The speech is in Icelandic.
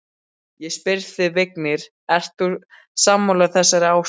Ég spyr þig, Vignir, ert þú sammála þessari áskorun?